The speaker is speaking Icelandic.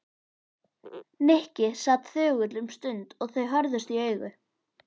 Nikki sat þögull um stund og þau horfðust í augu.